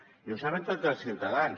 i ho saben tots els ciutadans